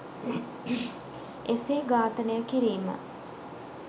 එසේ ඝාතනය කිරීම